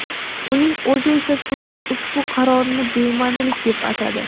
Uning o‘zi esa sudning ushbu qarorini bema’nilik deb atadi.